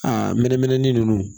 A mɛnɛmɛnɛ ni nunnu